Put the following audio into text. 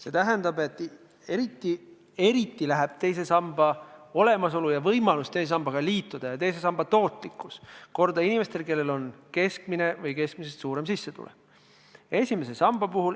See tähendab, et eriti läheb teise samba olemasolu, võimalus teise sambaga liituda ja teise samba tootlikkus korda inimestele, kellel on keskmine või keskmisest suurem sissetulek.